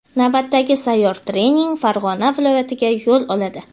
Navbatdagi sayyor trening Farg‘ona viloyatiga yo‘l oladi.